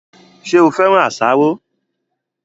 Ṣé o féràn àsáró